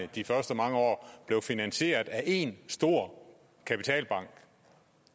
de første mange år blev finansieret af én stor kapitalbank